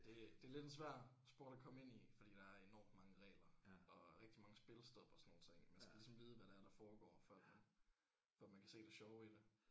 Det det er lidt en svær sport at komme ind i fordi der er enormt mange regler og rigtig mange spilstop og sådan nogle ting man skal ligesom vide hvad det er der foregår for at man for at man kan se det sjove i det